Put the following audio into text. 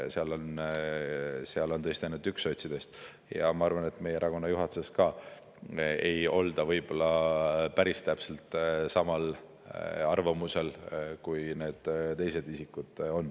Seal on tõesti ainult üks sots ja ma arvan, et meie erakonna juhatuses ka ei olda võib-olla päris täpselt samal arvamusel, kui need teised isikud on.